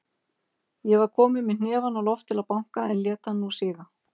Ég var kominn með hnefann á loft til að banka, en lét hann nú síga.